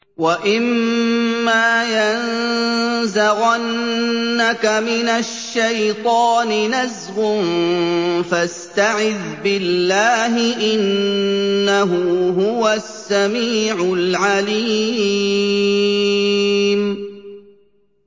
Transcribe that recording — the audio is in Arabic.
وَإِمَّا يَنزَغَنَّكَ مِنَ الشَّيْطَانِ نَزْغٌ فَاسْتَعِذْ بِاللَّهِ ۖ إِنَّهُ هُوَ السَّمِيعُ الْعَلِيمُ